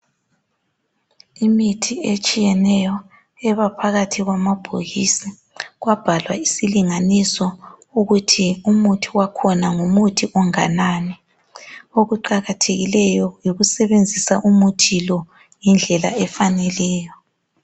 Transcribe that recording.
Imithi etshiyeneyo ebaphakathi kwamabhokisi kwabhalwa isilinganiso ukuthi umuthi wakhona ngumuthi onganani. Okuqakathekileyo yikusebenzisa umuthi lo indlela efaneleyo.